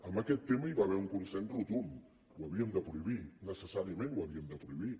en aquest tema hi va haver un consens rotund ho havíem de prohibir necessàriament ho havíem de prohibir